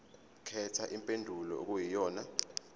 khetha impendulo okuyiyona